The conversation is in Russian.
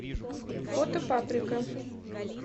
фото паприка